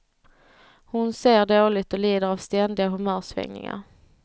Hon ser dåligt och lider av ständiga humörsvängningar.